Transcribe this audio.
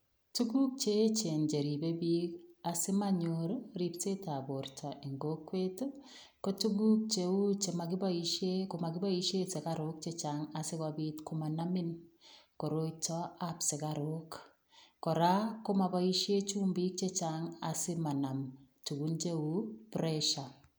Tukuk cheechen cheribe biik asimonyor ribsetab borto en kokwet ii kotukuk cheu chemoikiboishen komokiboishen sukaruk chechang asikoblt komanamin koiroitab sikaruk, kora komoboishe chumbik chechang asimanam tukuk cheuu pressure.